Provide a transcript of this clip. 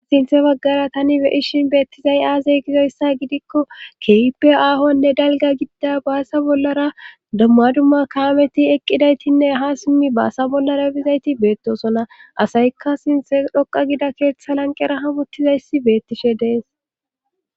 Sinthe baggara tani beyishin beettizay aazey gizoyssa gidikko keyipe aahonne dalga gidida baasa bollara damma dumma kaameti eqqidaytinne ha simmi baasa bollara bizayti beettosona asayikka sinthe dhoqa gida keeththa lanqera hamottizayssi beettishe dees.